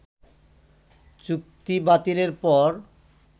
চুক্তিবাতিলের পর